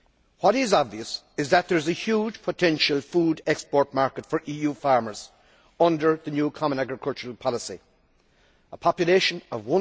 What is obvious is that there is a huge potential food export market for EU farmers under the new Common Agricultural Policy a population in China of